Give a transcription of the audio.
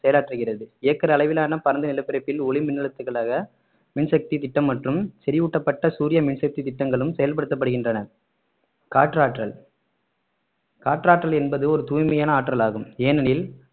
செயலாற்றுகிறது acre அளவிலான பரந்த நிலப்பரப்பில் ஒளி மின்னழுத்துகளாக மின்சக்தி திட்டம் மற்றும் செறிவூட்டப்பட்ட சூரிய மின்சக்தி திட்டங்களும் செயல்படுத்தப்படுகின்றன காற்றாற்றல் காற்றாற்றல் என்பது ஒரு தூய்மையான ஆற்றல் ஆகும் ஏனெனில்